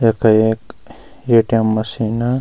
यख एक ATM. Machine.